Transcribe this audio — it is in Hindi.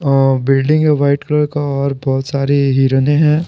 अ बिल्डिंग है वाइट कलर का और बहुत सारी हिरने है।